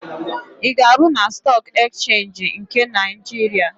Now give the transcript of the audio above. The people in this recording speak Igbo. Ị ga-arụ na Stọọk Ekchenji nke Naịjiria?